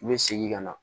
N bɛ segin ka na